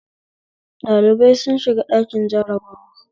Dalibai sun shiga ɗakin jarabawa